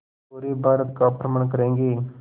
पूरे भारत का भ्रमण करेंगे